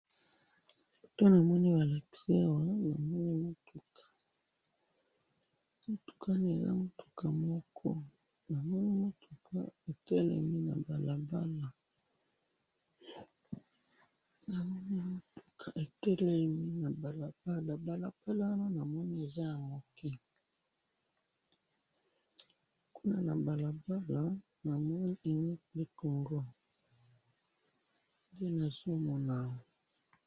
Foto namoni balakisi awa, namoni mutuka, mutuka wana eza mutuka moko, namoni mutuka etelemi nabalabala, namoni mutuka etelemi nabalabala, balabala wana namoni eza yamuke, kuna na balabala namoni unique du congo, nde nazomona awa.